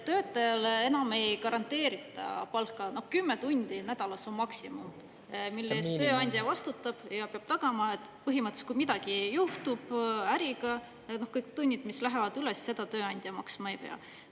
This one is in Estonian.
Töötajale enam ei garanteerita palka, 10 tundi nädalas on maksimum, mille eest tööandja vastutab ja peab tagama, et põhimõtteliselt, kui midagi juhtub äriga, kõik tunnid, mis lähevad üles, seda tööandja maksma ei pea.